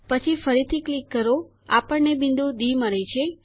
પછી ફરીથી ક્લિક કરો આપણને બિંદુ ડી મળે છે